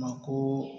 Ma ko